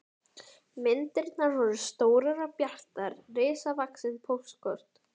Myndirnar voru stórar og bjartar, risavaxin póstkort.